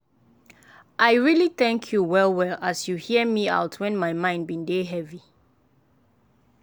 i really thank you well well as you hear me out when my mind bin dey heavy.